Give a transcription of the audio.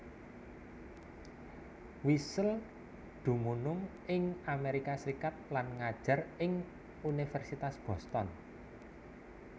Wiesel dumunung ing Amerika Serikat lan ngajar ing Universitas Boston